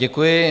Děkuji.